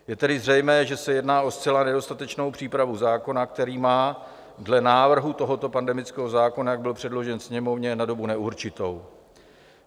Je tedy zřejmé, že se jedná o zcela nedostatečnou přípravu zákona, který má dle návrhu tohoto pandemického zákona, jak byl předložen Sněmovně, na dobu neurčitou.